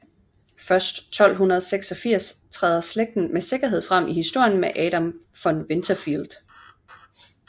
Først 1286 træder slægten med sikkerhed frem i historien med Adam von Winterfeld